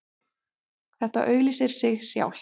Þetta auglýsir sig sjálft